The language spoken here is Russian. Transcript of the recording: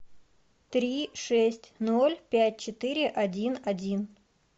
три шесть ноль пять четыре один один